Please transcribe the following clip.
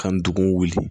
Ka ndugun wuli